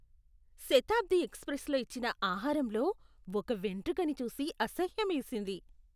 శతాబ్ది ఎక్స్ప్రెస్లో ఇచ్చిన ఆహారంలో ఒక వెంట్రుకను చూసి అసహ్యమేసింది.